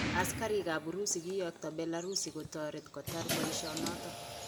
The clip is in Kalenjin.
Asikarik kap Urusi kiyokto Belarus kotoret kotar boishet noton